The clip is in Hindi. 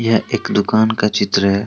यह एक दुकान का चित्र है।